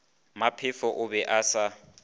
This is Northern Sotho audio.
maphefo o be a sa